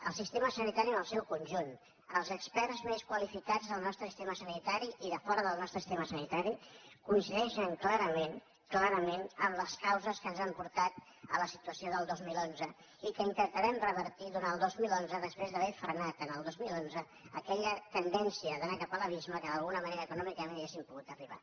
el sistema sanitari en el seu conjunt els experts més qualificats del nostre sistema sanitari i de fora del nostre sistema sanitari coincideixen clarament clarament en les causes que ens han portat a la situació del dos mil onze i que intentarem revertir durant el dos mil dotze després d’haver frenat el dos mil onze aquella tendència d’anar cap a l’abisme a què d’alguna manera econòmicament hauríem pogut arribar